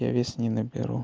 я вес не наберу